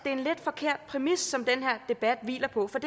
er en lidt forkert præmis som den her debat hviler på for